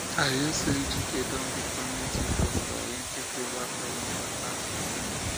i hear say ejike don become native doctor um he take over from im papa um